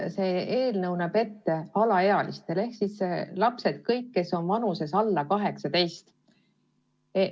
See eelnõu näeb ette, et abi võivad küsida alaealised ehk siis lapsed, kõik, kes on vanuses alla 18.